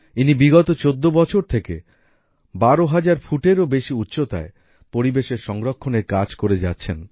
ইনি বিগত ১৪ বছর থেকে ১২০০০ ফুট এরও বেশি উচ্চতায় পরিবেশ সংরক্ষণ এর কাজ করে যাচ্ছেন